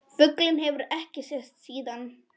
Fuglinn hefur ekki sést síðan.